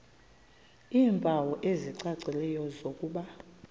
iimpawu ezicacileyo zokuba